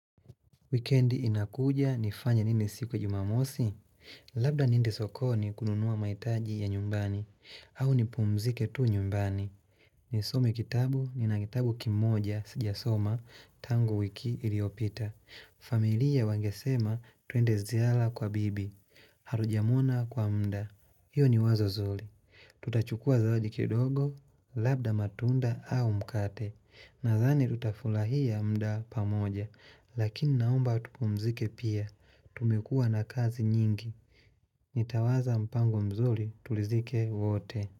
Wikendi inakuja nifanye nini siku ya jumamosi? Labda niende sokoni kununua mahitaji ya nyumbani au nipumzike tu nyumbani Nisome kitabu nina kitabu kimoja sijasoma tangu wiki iliopita familia wangesema twende ziara kwa bibi Hatujamona kwa muda. Hiyo ni wazo zuri Tutachukua zawadi kidogo labda matunda au mkate Nadhani tutafurahia muda pamoja Lakini naomba tupumzike pia, tumekuwa na kazi nyingi Nitawaza mpango mzuri tulidhike wote.